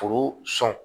Foro sɔn